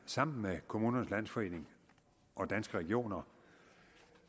sammen med kommunernes landsforening og danske regioner